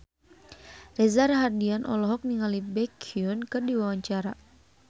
Reza Rahardian olohok ningali Baekhyun keur diwawancara